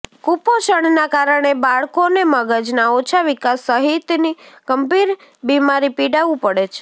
કુપોષણના કારણે બાળકોને મગજના ઓછા વિકાસ સહિતની ગંભીર બિમારીી પીડાવું પડે છે